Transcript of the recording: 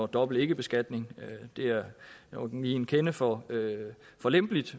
dobbelt ikkebeskatning det er nok lige en kende for for lempeligt